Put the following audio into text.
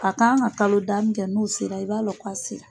ka kan ka kalo da min kɛ n'o sera i b'a lɔn k'a sera.